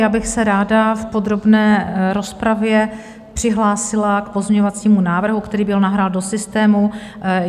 Já bych se ráda v podrobné rozpravě přihlásila k pozměňovacímu návrhu, který byl nahrán do systému.